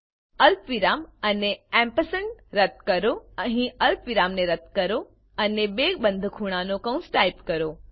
અલ્પવિરામ અને રદ્દ કરો અહીં અલ્પવિરામને રદ્દ કરો અને બે બંધ ખૂણાનાં કૌંસ ટાઈપ કરો